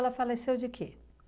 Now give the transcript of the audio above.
Ela faleceu de quê?